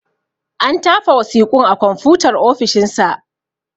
An tafa wasiƙun a konfutar ofishin sa.